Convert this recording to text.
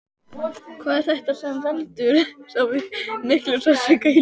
Hvað er þetta sem veldur svo miklum sársauka í lífinu?